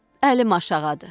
Əlim aşağıdadır.